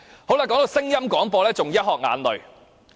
談到聲音廣播，更是"一殼眼淚"。